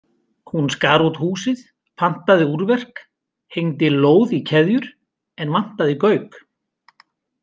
Hún skar út húsið, pantaði úrverk, hengdi lóð í keðjur en vantaði gauk.